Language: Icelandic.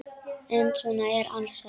En svo er alls ekki.